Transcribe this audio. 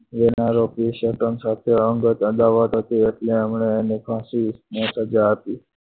લેનારો case હતો અંગત અદાવત હતી એટલે આમણે એને ફાંસીની સજા આપી.